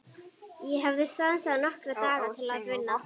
Ég hafði stansað nokkra daga til að vinna.